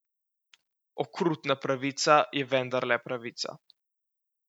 Okrutna pravica je vendarle pravica.